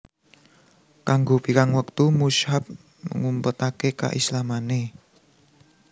Kanggo pirang wektu Mushab ngumpetake keislamane